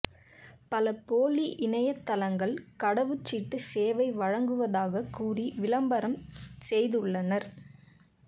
பல போலி இணையதளங்கள் கடவுச்சீட்டு சேவை வழங்குவதாகக் கூறி விளம்பரம் செய்துள்ளனா்